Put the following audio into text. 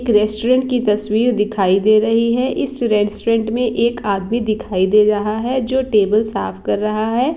एक रेस्टूरेंट की तस्वीर दिखाई दे रही है। इस रेस्टूरेंट में एक आदमी दिखाई दे रहा है। जो टेबल साफ कर रहा है।